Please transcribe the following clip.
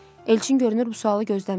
Elçin görünür bu sualı gözləmirdi.